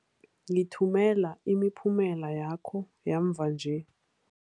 Ngithumela imiphumela yakho yamva nje.